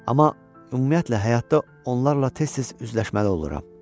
Amma ümumiyyətlə həyatda onlarla tez-tez üzləşməli oluram.